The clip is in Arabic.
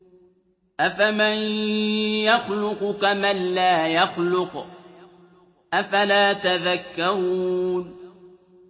أَفَمَن يَخْلُقُ كَمَن لَّا يَخْلُقُ ۗ أَفَلَا تَذَكَّرُونَ